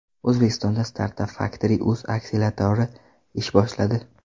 O‘zbekistonda StartupFactory.uz akseleratori ish boshladi.